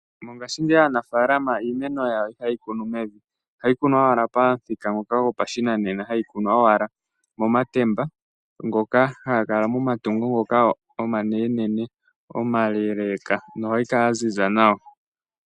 Mongaashingeyi aanafaalama iimeno yawo ihaye yi kunu mevi. Ohayi kunwa owala pamuthika ngoka gopashinanena. Hayi kunwa owala momatemba, ngoka haga kala momatungo ngoka omanene omaleeleka, nohayi kala ya ziza nawa.